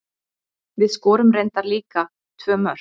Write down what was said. Við skorum reyndar líka tvö mörk.